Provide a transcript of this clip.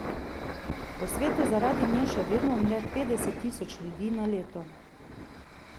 Po svetu zaradi nje še vedno umre petdeset tisoč ljudi na leto.